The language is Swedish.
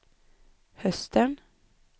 hösten